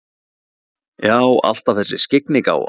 Já, alltaf þessi skyggnigáfa.